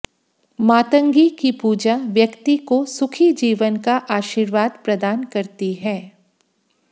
मातंगी की पूजा व्यक्ति को सुखी जीवन का आशीर्वाद प्रदान करती है